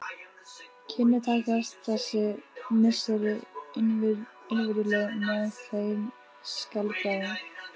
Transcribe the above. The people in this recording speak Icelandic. Kynni takast þessi misseri innvirðuleg með þeim skáldbræðrum.